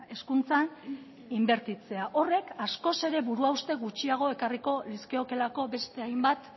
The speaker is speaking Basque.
hezkuntzan inbertitzea horrek askoz ere buru hauste gutxiago ekarriko lizkiokeelako beste hainbat